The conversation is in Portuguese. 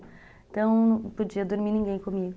Então não podia dormir ninguém comigo.